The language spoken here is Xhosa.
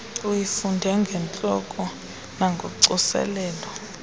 uyifunde ngentloko nangocoselelo